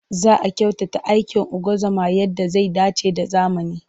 Za a kyautata aikin ungozoma yadda zai dace da zamani.